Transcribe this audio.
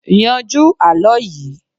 yanjú àlọ yìí